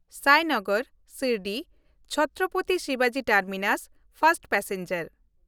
ᱥᱟᱭᱱᱚᱜᱚᱨ ᱥᱤᱨᱰᱤ-ᱪᱷᱛᱨᱚᱯᱚᱛᱤ ᱥᱤᱵᱟᱡᱤ terminus first passenger